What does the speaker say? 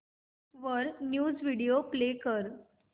वर news video play कर